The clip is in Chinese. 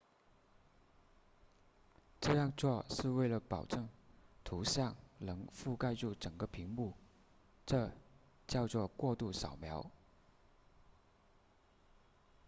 这样做是为了保证图像能覆盖住整个屏幕这叫做过度扫描